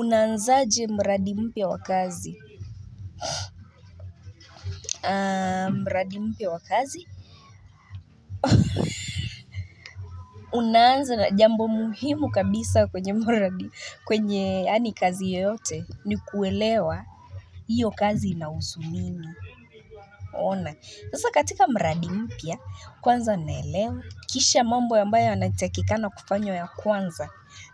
Unaanzaje mradi mpya wa kazi? Mradi mpya wa kazi? Unaanza na jambo muhimu kabisa kwenye kazi yoyote ni kuelewa hiyo kazi inahusu nini? Ona, sasa katika mradi mpya, kwanza naelewa, kisha mambo ambayo yanatakikana kufanywa ya kwanza,